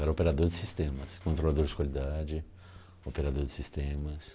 Era operador de sistemas, controlador de qualidade, operador de sistemas.